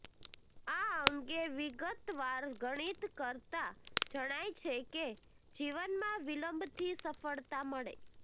આ અંગે વિગતવાર ગણિત કરતા જણાય છે કે જીવનમાં વિલંબથી સફ્ળતા મળે